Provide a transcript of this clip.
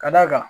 Ka d'a kan